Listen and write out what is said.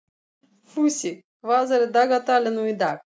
Fúsi, hvað er í dagatalinu í dag?